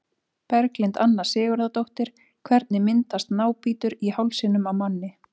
Berglind Anna Sigurðardóttir Hvernig myndast nábítur í hálsinum á manni?